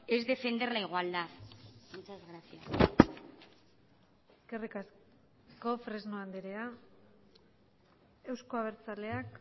es defender la igualdad muchas gracias eskerrik asko fresno andrea euzko abertzaleak